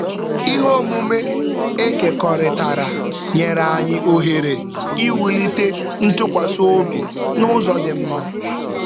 Ihe omume e kekọrịtara nyere anyị ohere ịwụlite ntụkwasị obi n'ụzọ dị mma.